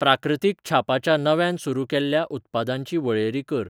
प्राकृतिक छापाच्या नव्यान सुरू केल्ल्या उत्पादांची वळेरी कर.